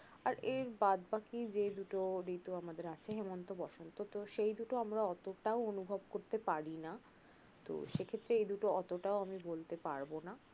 আর এর বাদবাকি যে দুটো ঋতু আমাদের আছে হেমন্ত, বসন্ত তো সেই দুটো আমরা ওতটাও অনুভব করতে পারিনা তো সে ক্ষেত্রে এই দুটো অতটাও আমি বলতে পরবো না